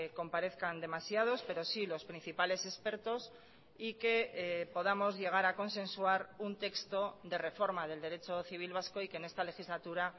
comparezcan demasiados pero sí los principales expertos y que podamos llegar a consensuar un texto de reforma del derecho civil vasco y que en esta legislatura